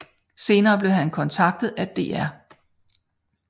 Senere blev han kontaktet af dr